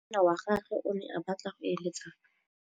Monna wa gagwe o ne a batla go êlêtsa